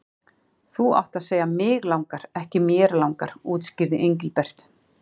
Þú átt að segja mig langar, ekki mér langar útskýrði Engilbert.